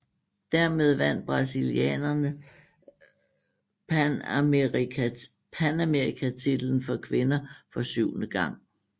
Dermed vandt brasilianerne panamerikatitlen for kvinder for syvende gang